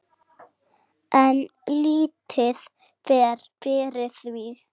En lítið fer fyrir því.